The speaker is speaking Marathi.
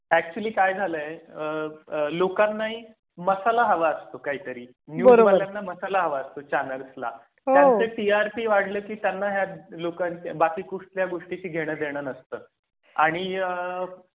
ऍक्चुअली काय झालाय. लोकांना ही मसाला हवा असतो. काहीतरी न्यूजवाल्याना मसाला हवा असतो. चॅनेल्सला त्यांचं टीआरपी वाढले की त्यांना हे लोकांच्या बाकी कुठल्या गोष्टीशी घेणं देणं नसतं आणि आह